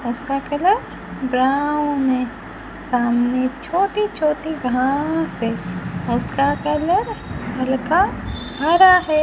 उसका colour brown है सामने छोटी छोटी घास है उसका कलर हल्का हरा है।